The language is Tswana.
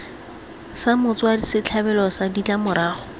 sa motswa setlhabelo sa ditlamorago